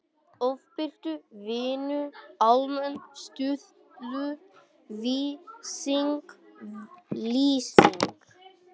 Ofbirtu- Vinnu- Almenn stuðull lýsing lýsing